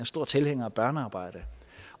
stor tilhænger af børnearbejde